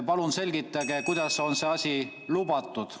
Palun selgitage, kuidas on selline asi lubatud.